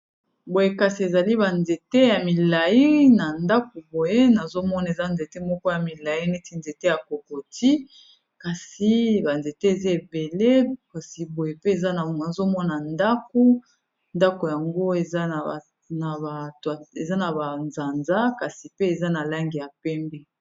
Boye kasi ezali banzete ya milai na ndaku boye nazomona eza nzete moko ya milai neti nzete ya kokoti kasi banzete eza ebele kasi boye pe nazomona ndaku ndako yango eza na bazanza kasi pe eza na lange ya pembe